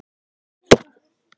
Líst þér ekki vel á það?